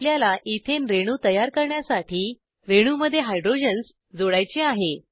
आपल्याला इथेन रेणू तयार करण्यासाठी रेणूमध्ये हायड्रोजन्स जोडायचे आहे